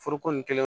Foroko nin kelen